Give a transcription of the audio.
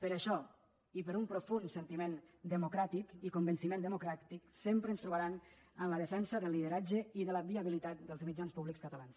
per això i per un profund sentiment democràtic i convenciment democràtic sempre ens trobaran en la defensa del lideratge i de la viabilitat dels mitjans públics catalans